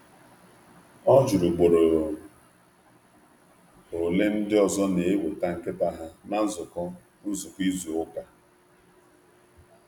Ọ jụrụ ugboro ole ndị ọzọ na-akpọbata nkịta ha na nzukọ izu ụka.